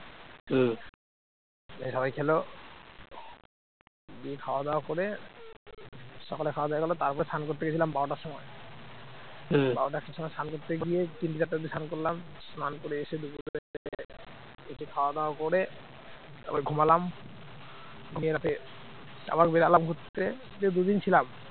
বারোটা একটা সময় স্নান করতে গিয়েই তিনটে চারটে অব্দি স্নান করলাম স্নান করে এসে দুপুরবেলা একটু খাওয়া দাওয়া করে তারপর ঘুমালাম ঘুমিয়ে উঠে আবার বেরোলাম ঘুরতে, গিয়ে দুদিন ছিলাম